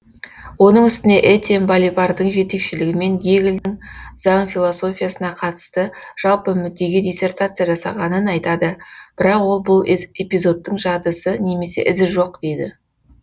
оның үстіне этьен балибардың жетекшілігімен гегельдің заң философиясына қатысты жалпы мүддеге диссертация жасағанын айтады бірақ ол бұл эпизодтың жадысы немесе ізі жоқ дейді